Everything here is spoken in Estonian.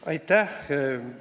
Aitäh!